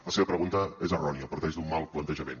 la seva pregunta és errònia parteix d’un mal plantejament